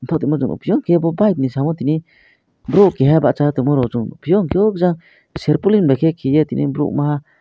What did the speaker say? patama jaga peyi kebo bahai ni samo tini boro keha basai tangma rok song nog peyo jang serpolin bai ke tangmaha.